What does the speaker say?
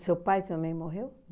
seu pai também morreu?